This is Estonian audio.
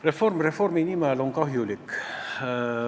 Reform reformi nimel on kahjulik.